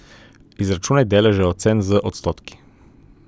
Izračunaj deleže ocen z odstotki.